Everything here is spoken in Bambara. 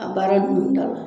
A baara ninnu da la.